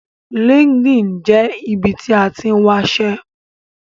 LinkedIn jẹ́ ibi tí a tín wáṣẹ́